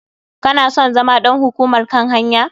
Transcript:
Kana son zama ɗan hukumar kan hanya?